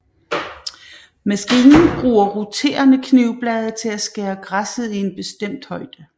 Maskinen bruger roterende knivblade til at skære græsset i en bestemt højde